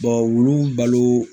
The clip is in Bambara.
olu balo